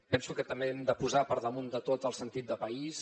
penso que també hem de posar per damunt de tot el sentit de país